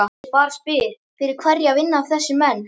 Ég bara spyr, fyrir hverja vinna þessir menn?